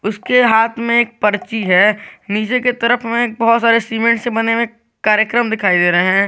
उसके हाथ में एक पर्ची है नीचे की तरफ में बहुत सारे सीमेंट से बने हुए कार्यक्रम दिखाई दे रहे हैं।